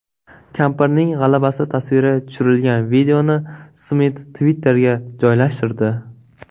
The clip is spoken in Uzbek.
Kampirning g‘alabasi tasviri tushirilgan videoni Smit Twitter’ga joylashtirdi .